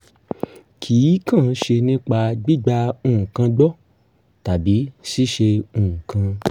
kì í kàn ṣe nípa gbígba nǹkan gbọ́ tàbí ṣíṣe nǹkan